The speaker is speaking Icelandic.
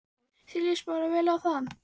Hjörtur: Þér lýst bara vel á það?